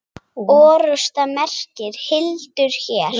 Orrusta merkir hildur hér.